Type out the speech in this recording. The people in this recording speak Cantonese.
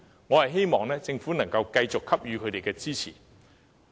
我希望政府能夠繼續給予支持。